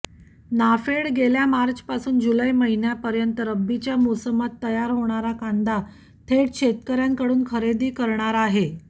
नाफेड गेल्या मार्चपासून जुलै महिन्यापर्यंत रब्बीच्या मोसमात तयार होणारा कांदा थेट शेतकऱ्यांकडून खरेदी करणार आहे